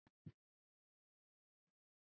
Þetta voru góðar ferðir.